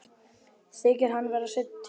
Þykir hann vera seinn til.